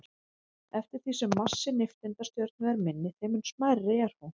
Eftir því sem massi nifteindastjörnu er minni, þeim mun smærri er hún.